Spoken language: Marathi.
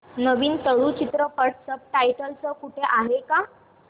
नवीन तुळू चित्रपट सब टायटल्स सह कुठे आहे का